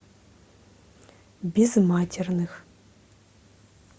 безматерных